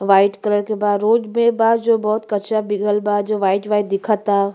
White colour के बा। Road भी बा जो बहुत कचड़ा बिगल बा जो वाइट वाइट दिखअ ता।